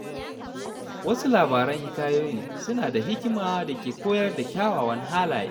Wasu labaran hikayoyin suna da hikima da ke koyar da kyawawan halaye.